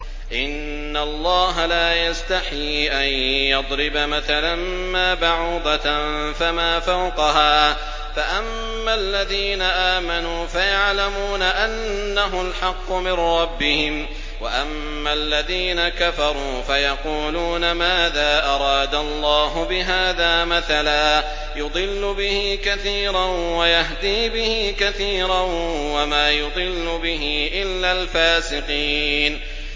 ۞ إِنَّ اللَّهَ لَا يَسْتَحْيِي أَن يَضْرِبَ مَثَلًا مَّا بَعُوضَةً فَمَا فَوْقَهَا ۚ فَأَمَّا الَّذِينَ آمَنُوا فَيَعْلَمُونَ أَنَّهُ الْحَقُّ مِن رَّبِّهِمْ ۖ وَأَمَّا الَّذِينَ كَفَرُوا فَيَقُولُونَ مَاذَا أَرَادَ اللَّهُ بِهَٰذَا مَثَلًا ۘ يُضِلُّ بِهِ كَثِيرًا وَيَهْدِي بِهِ كَثِيرًا ۚ وَمَا يُضِلُّ بِهِ إِلَّا الْفَاسِقِينَ